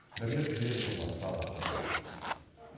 бірлік берікұлы жалғастырсын